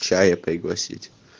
чая пригласить